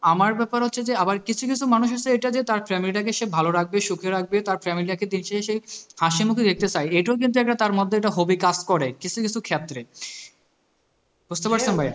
আমার ব্যাপার হচ্ছে যে আবার কিছু কিছু মানুষ হচ্ছে এটা যে তার family টাকে সে ভালো রাখবে সুখে রাখবে তার family টাকে দেখছে সে হাসি মুখে দেখতে চায় এটাও কিন্তু একটা তার মধ্যে hobby কাজ করে কিছু কিছু ক্ষেত্রে বুঝতে পারছেন ভাইয়া